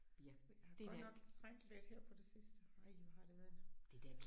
Fordi jeg har godt nok trængt lidt her på det sidste ej hvor har det været